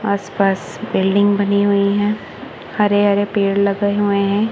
आस पास बिल्डिंग बनी हुई है हरे हरे पेड़ लगे हुए हैं।